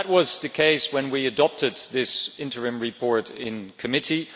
That was the case when we adopted this interim report in committee.